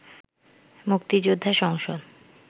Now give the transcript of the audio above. মুক্তিযোদ্ধা সংসদ